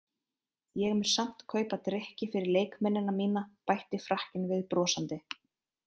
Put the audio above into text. Ég mun samt kaupa drykki fyrir leikmennina mína bætti Frakkinn við brosandi.